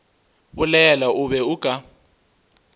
bolela o be o ka